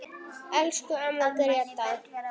Elsku amma Gréta.